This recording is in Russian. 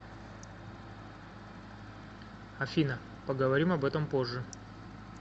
афина поговорим об этом позже